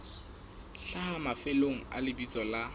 hlaha mafelong a lebitso la